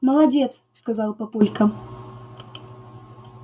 молодец сказал папулька